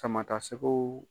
Sama ta sɛgɛw.